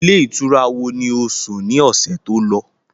Ilé ìtura wo ni ó sùn ni ọ̀sẹ̀ tó lọ?